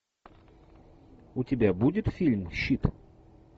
у тебя будет фильм щит